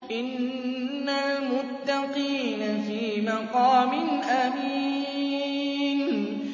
إِنَّ الْمُتَّقِينَ فِي مَقَامٍ أَمِينٍ